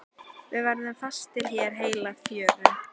Við verðum fastir hér heila fjöru.